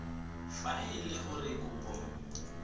fa e le gore kopo